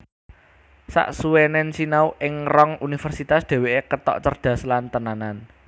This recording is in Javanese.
Saksuwenen sinau ing rong Universitas dheweke ketok cerdhas lan tenanan